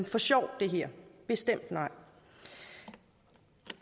for sjov det her bestemt nej